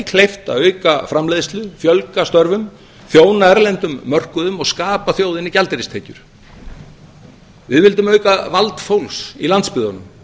kleift að auka framleiðslu fjölga störfum þjóna erlendum mörkuðum og skapa þjóðinni gjaldeyristekjur við vildum auka vald fólks á landsbyggðinni